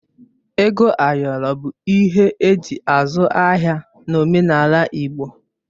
Ego ayọrọ bụ ihe eji azụ ahịa n'omenala Igbo